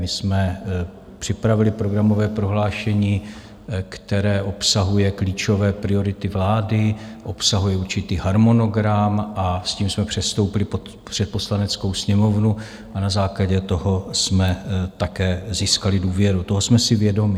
My jsme připravili programové prohlášení, které obsahuje klíčové priority vlády, obsahuje určitý harmonogram, a s tím jsme předstoupili před Poslaneckou sněmovnu a na základě toho jsme také získali důvěru, toho jsme si vědomi.